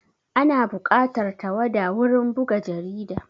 Ana buƙatar tawada wurin buga jarida